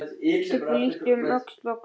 Stubbur lítur um öxl og glottir.